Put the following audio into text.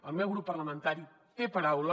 el meu grup parlamentari té paraula